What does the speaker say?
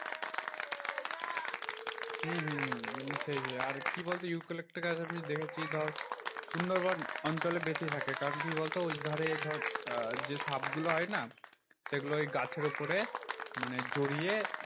হম হম হম সেই সেই আর কি বলতো? ইউক্যালিপ্টাস গাছ আমি দেখেছি ধর সুন্দরবন অঞ্চলে বেশি থাকে। কারণ কি বলতো ওই ধারে ধর আহ যে সাপগুলো হয়না? সেগুলো ওই গাছের উপরে মানে জড়িয়ে